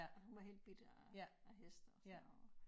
Hun var helt bidt af af hest og sådan noget